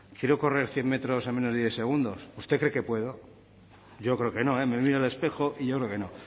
quiero correr cien metros en menos de diez segundos usted cree que puedo yo creo que no me miro al espejo y yo creo que no